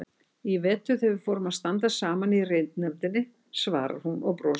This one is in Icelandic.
Í vetur þegar við fórum að starfa saman í ritnefndinni, svarar hún og brosir.